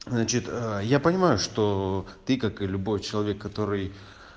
значит ээ я понимаю что ты как и любой человек который